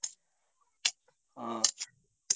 ହଁ